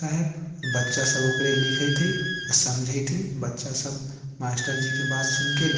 बच्चा सब ओकरे लिखइत है आर समझेत है। बच्चा सब मास्टर जी की बात सुनके लिखइत है।